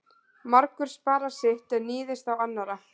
Margur sparar sitt en níðist á annarra.